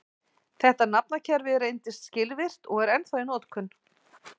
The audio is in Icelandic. Þetta nafnakerfi reyndist skilvirkt og er ennþá í notkun.